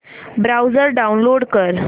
browser download कर